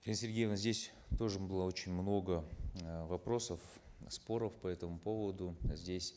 сергеевна здесь тоже было очень много э вопросов споров по этому поводу здесь